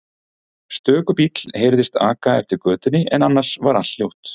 Stöku bíll heyrðist aka eftir götunni en annars var allt hljótt.